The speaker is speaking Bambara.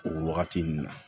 O wagati nin na